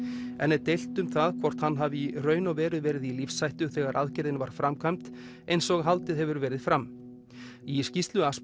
enn er deilt um hvort hann hafi í raun og veru verið í lífshættu þegar aðgerðin var framkvæmd eins og haldið hefur verið fram í skýrslu